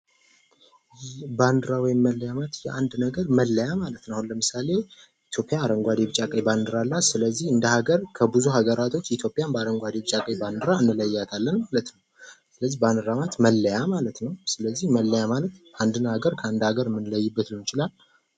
ባንዲራ ወይም መለያ ማለት የአንድ ነገር መለያ ማለት ነው አሁን ለምሳሌ ኢትዮጵያ አረንጓዴ ቢጫ ቀይ ባንዲራ ስለዚህ እንደ ሃገር ከብዙ ሀገራቶች በአረንጓዴ ቢጫ ቀይ ባንዲራ እንለያታለን ማለት ነው ባንዴራ ማለት መገለጫ ማለት ነው። ስለዚህ መለያ ማለት አንድን ሀገር ከአንድ ሀገር የምንለይበት ሊሆን ይችላል።